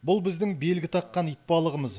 бұл біздің белгі таққан итбалығымыз